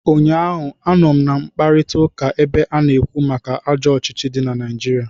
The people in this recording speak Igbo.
Ụnyaahụ, anọ m na mkparịtaụka ebe a na-ekwu maka ajọ ọchịchị dị na Naijiria